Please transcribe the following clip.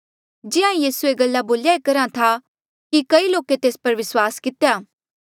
जिहां ईं यीसू ये गल्ला बोल्या करहा था कि कई लोके तेस पर विस्वास कितेया